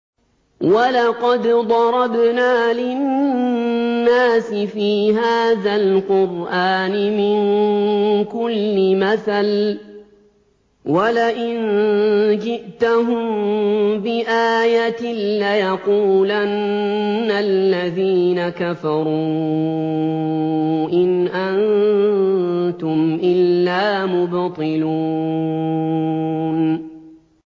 وَلَقَدْ ضَرَبْنَا لِلنَّاسِ فِي هَٰذَا الْقُرْآنِ مِن كُلِّ مَثَلٍ ۚ وَلَئِن جِئْتَهُم بِآيَةٍ لَّيَقُولَنَّ الَّذِينَ كَفَرُوا إِنْ أَنتُمْ إِلَّا مُبْطِلُونَ